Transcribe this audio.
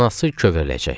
Anası kövərəcək.